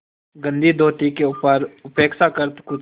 गंदी धोती के ऊपर अपेक्षाकृत कुछ